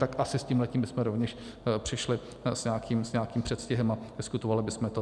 Tak asi s tímhle bychom rovněž přišli s nějakým předstihem a diskutovali bychom to.